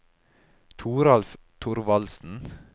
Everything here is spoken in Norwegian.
Toralf Thorvaldsen